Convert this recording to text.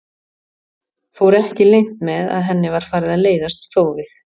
Fór ekki leynt með að henni var farið að leiðast þófið.